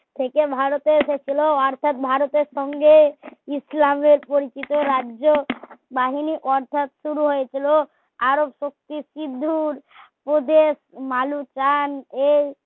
থেকে ভারতে এসেছিলো অর্থাৎ ভারতের সঙ্গে ইসলামের পরিচিত রাজ্য বাহিনী অর্থাৎ শুরু হয়েছিল আরব শক্তির সিঁধুর উপদেশ এই